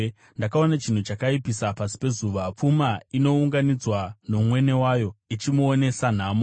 Ndakaona chinhu chakaipisisa pasi pezuva: pfuma inounganidzwa nomwene wayo, ichimuonesa nhamo,